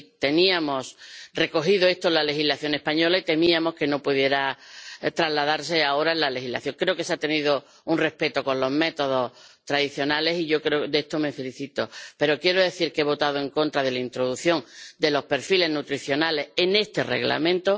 Estaba recogido en la legislación española y temíamos que no pudiera trasladarse ahora a la legislación europea. Creo que se ha mostrado respeto a los métodos tradicionales, de lo que me felicito. Pero quiero decir que he votado en contra de la introducción de los perfiles nutricionales en este Reglamento.